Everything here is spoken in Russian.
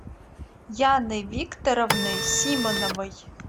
яной викторовной симоновой